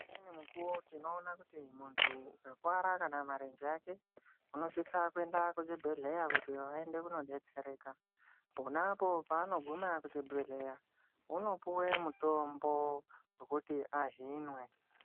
Pane umwe mukuwo tinoona kuti muntu ukakuwara kana marenje ake unosisa kuenda kuzviibhehleya kuti vaende kunodetsereka, pona paanoguma kuchibhehleya unopuwe mutombo wekuti ahinwe.